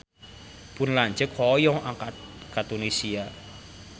Pun lanceuk hoyong angkat ka Tunisia